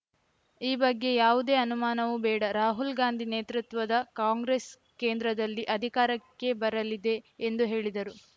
ಈ ಬಗ್ಗೆ ಯಾವುದೇ ಅನುಮಾನವೂ ಬೇಡ ರಾಹುಲ್‌ ಗಾಂಧಿ ನೇತೃತ್ವದ ಕಾಂಗ್ರೆಸ್‌ ಕೇಂದ್ರದಲ್ಲಿ ಅಧಿಕಾರಕ್ಕೆ ಬರಲಿದೆ ಎಂದು ಹೇಳಿದರು